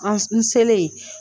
An n selen